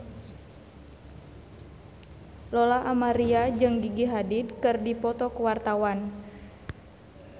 Lola Amaria jeung Gigi Hadid keur dipoto ku wartawan